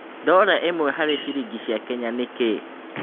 dola ĩmwe harĩ ciringi ya Kenya nĩ kĩĩ